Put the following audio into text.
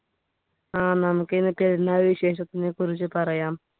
ആഹ് നമുക്ക് ഇന്ന് പെരുന്നാൾ വിശേഷത്തിനെ കുറിച്ച് പറയാം